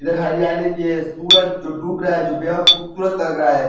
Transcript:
हरियाली भी है। सूरज डूबा रहा है। बेहद खूबसूरत लग रहा है।